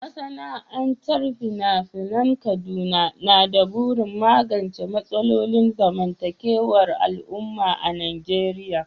Masana'antar fina-finan Kaduna na da burin magance matsalolin zamantakewar al'umma a Najeriya